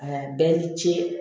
Aa bɛɛ ni ce